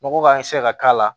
Nɔgɔ ka ka k'a la